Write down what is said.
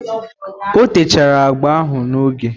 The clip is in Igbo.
O techara agba ahụ n'oge?